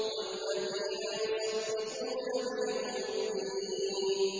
وَالَّذِينَ يُصَدِّقُونَ بِيَوْمِ الدِّينِ